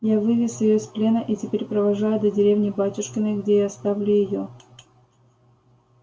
я вывез её из плена и теперь провожаю до деревни батюшкиной где и оставлю её